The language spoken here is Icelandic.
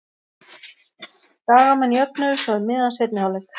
Skagamenn jöfnuðu svo um miðjan seinni hálfleik.